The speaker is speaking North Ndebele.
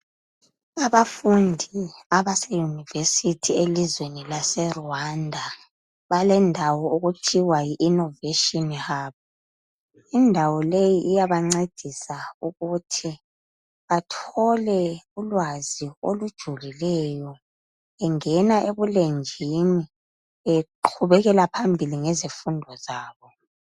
Abafundi abase University elizweni lase Rwanda, balendawo okuthiwa yi innovation hub. Indawo leyi iyabancedisa ukuthi bathole ulwazi olujulileyo bengena ebulenjini beqhubekela phambili ngezifundo zabo